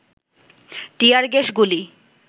টিয়ার gas, গুলি